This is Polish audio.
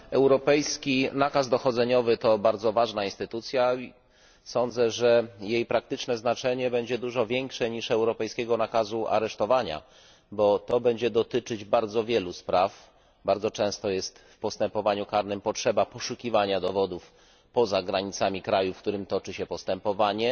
Europejski nakaz dochodzeniowy to bardzo ważny instrument, sądzę, że jego praktyczne znaczenie będzie dużo większe niż europejskiego nakazu aresztowania. Będzie on dotyczył bardzo wielu spraw bardzo często w postępowaniu karnym jest potrzeba poszukiwania dowodów poza granicami kraju, w którym toczy się postępowanie,